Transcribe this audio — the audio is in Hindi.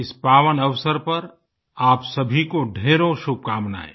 इस पावन अवसर पर आप सभी को ढ़ेरों शुभकामनाएं